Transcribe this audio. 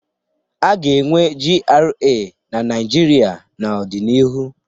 A ga-enwe GRA na Naijiria n'ọdịnihu.